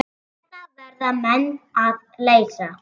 Þetta verða menn að leysa.